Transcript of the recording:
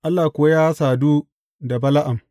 Allah kuwa ya sadu da Bala’am.